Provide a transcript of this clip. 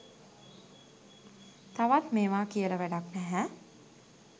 තවත් මේවා කියල වැඩක් නැහැ